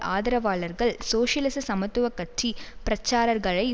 ஆதரவாளர்கள் சோசியலிச சமத்துவ கட்சி பிரச்சாரர்களை